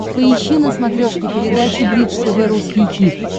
поищи на смотрешке передачу бридж тв русский хит